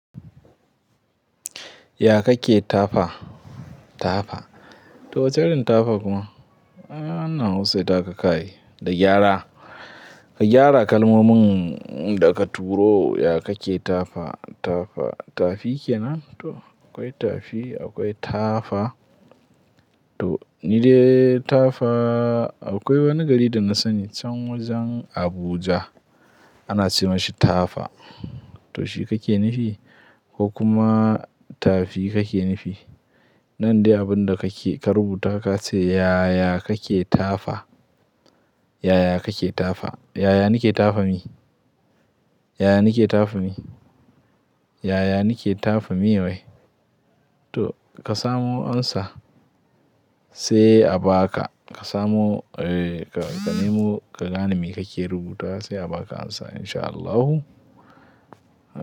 Ya kake tafa? Tafa. To wacce irin tafa kuma? Aaa, wannan hausat ta ka kai da gyara. Ka gyara kalmomin da ka turo, ya kake tafa, tafa. Tafi kenan? To akwai tafi, akwai tafa. To ni dai tafa akwai wani gari da na sani can wajen Abuja ana ce mishi tafa. To shi kake nufi ko kuma tafi kake nufi. Nan dai abin da kake ka rubuta ka ce, "Yaya kake tafa? Yaya kake tafa? Yaya nake tafa me? Yaya nake tafa mi? Yaya nake tafa me wai?" To ka samo amsa sai a ba ka. Ka samo, eh ka, ka nemo, ka gane me kake rubutawa sai a ba ka amsa insha Allahu.